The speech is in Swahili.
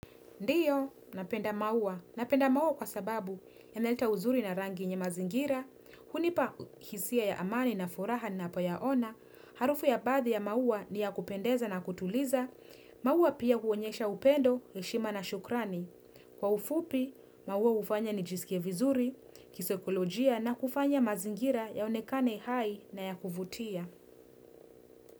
Ndiyo, napenda maua. Napenda maua kwa sababu yanaleta uzuri na rangi yenye mazingira, hunipa hisi ya ya amani na furaha na ninapoyaona, harufu ya baadhi ya maua ni ya kupendeza na kutuliza, maua pia huonyesha upendo, heshima na shukrani. Kwa ufupi, maua hufanya nijisikie vizuri, kisekolojia na kufanya mazingira yaonekane hai na ya kufutia.